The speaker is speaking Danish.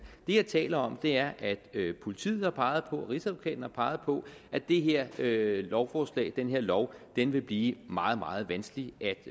det jeg taler om er at politiet og rigsadvokaten har peget på at det her lovforslag den her lov vil blive meget meget vanskelig